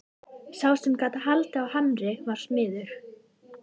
Sá sem gat haldið á hamri var smiður.